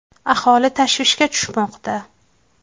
Aholi tashvishga tushmoqda.